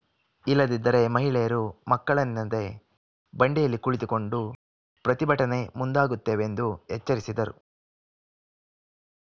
ಇಲ್ಲದಿದ್ದರೆ ಮಹಿಳೆಯರು ಮಕ್ಕಳೆನ್ನದೆ ಬಂಡೆಯಲ್ಲಿ ಕುಳಿತುಕೊಂಡು ಪ್ರತಿಭಟನೆ ಮುಂದಾಗುತ್ತೇವೆಂದು ಎಚ್ಚರಿಸಿದರು